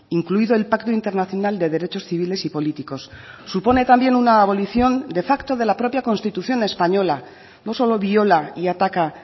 incluido el pacto internacional de derechos civiles y políticos supone también una abolición de facto de la propia constitución española no solo viola y ataca